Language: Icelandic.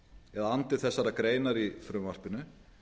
eða andi þessarar greinar i frumvarpinu